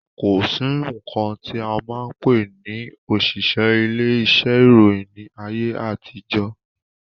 Kòsí nkan ti a máa pè ní òṣìṣẹ́ ilé iṣẹ́ ìròyìn ni ayé àtijọ́.